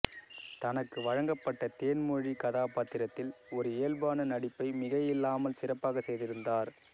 தனக்கு வழங்கப்பட்ட தேன் மொழி கதாபாத்திரத்தில் ஒரு இயல்பான நடிப்பை மிகையில்லாமல் சிறப்பாக செய்திருந்தார்